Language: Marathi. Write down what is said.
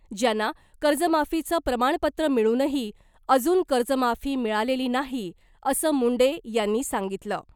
ज्यांना कर्जमाफीचं प्रमाणपत्र मिळूनही अजून कर्जमाफी मिळालेली नाही , असं मुंडे यांनी सांगितलं .